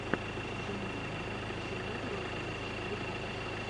дом два с глорией рай ютюб